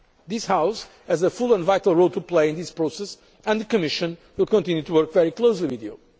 time. This House has a full and vital role to play in this process, and the Commission will continue to work very closely with